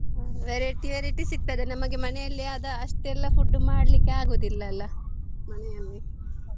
Variety variety ಸಿಗ್ತದೆ ನಮಗೆ ಮನೇಲಿ ಆದ ಅಷ್ಟೆಲ್ಲ food ಮಾಡ್ಲಿಕ್ಕೆ ಆಗೋದಿಲ್ಲ ಅಲ ಮನೆಯಲ್ಲಿ.